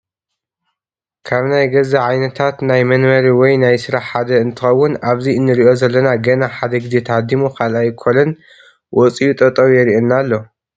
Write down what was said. ካብ ናይ ገዛ ዓይነታት ናይ መንበሪንወይ ናይ ስራሕ ሓደ እነትከውን ኣብዚ እንረኦ ዘለና ገና ሓደ ግዜ ተሃዲሙ ካልኣይ ኮለን ወፂኡ ጠጠው የሪኣና ኣሎ